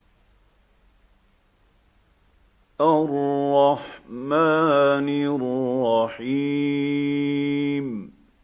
الرَّحْمَٰنِ الرَّحِيمِ